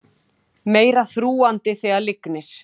Meira þrúgandi þegar lygnir